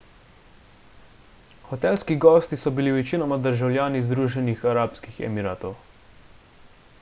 hotelski gosti so bili večinoma državljani združenih arabskih emiratov